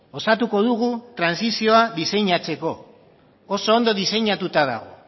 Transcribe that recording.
osatuko dugu trantsizioa diseinatzeko oso ondo diseinatuta dago